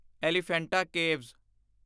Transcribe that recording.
Elephanta caves